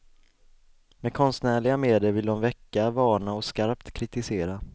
Med konstnärliga medel ville de väcka, varna och skarpt kritisera.